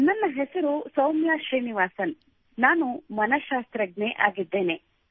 ನನ್ನ ಹೆಸರು ಸೌಮ್ಯಾ ಶ್ರೀನಿವಾಸನ್ | ನಾನು ಓರ್ವ ಸೈಕಾಲಜಿಸ್ಟ್ ಆಗಿದ್ದೇನೆ